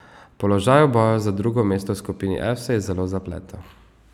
Položaj v boju za drugo mesto v skupini F se je zelo zapletel.